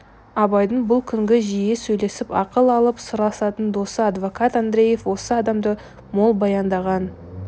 абайдың бұл күнгі жиі сөйлесіп ақыл алып сырласатын досы адвокат андреев осы адамды мол баяндаған